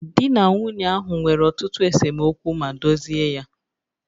Di na nwunye ahụ nwere ọtụtụ esemokwu ma dozie ya